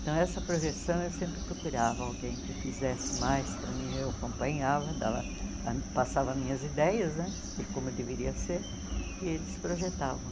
Então, essa projeção eu sempre procurava alguém que fizesse mais para mim, eu acompanhava, dava passava minhas ideias né de como deveria ser e eles projetavam.